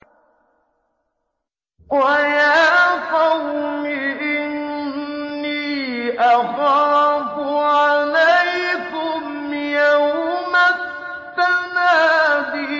وَيَا قَوْمِ إِنِّي أَخَافُ عَلَيْكُمْ يَوْمَ التَّنَادِ